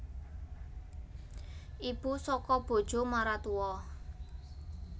Ibu saka bojo maratua